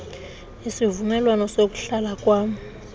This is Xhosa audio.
isivumelwano sokuhlala kwam